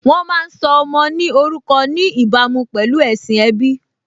Wọ́n má́a ń sọ ọmọ ní orúkọ ní ìbámu pẹ̀lú ẹ̀sìn ẹbí